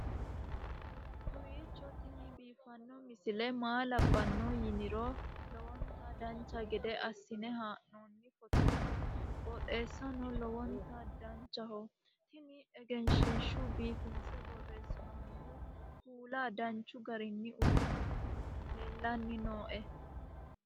kowiicho tini biiffanno misile maa labbanno yiniro lowonta dancha gede assine haa'noonni foototi qoxeessuno lowonta danachaho. tini egenshshiishu biifinse borreessinoonnihu kuula danchu garinni uyinoonihu leellanni nooe